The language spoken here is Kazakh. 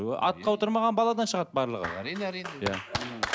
атқа отырмаған баладан шығады барлығы әрине әрине иә